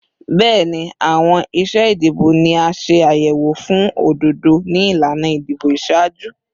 Bẹẹni, awọn iṣe idibo ni a ṣe ayẹwo fun ododo ni ilana idibo iṣaaju